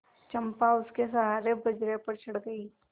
चंपा उसके सहारे बजरे पर चढ़ गई